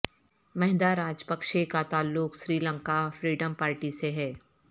مہندا Rajapaksa کا تعلق Sri Lanka freedom party سے ہے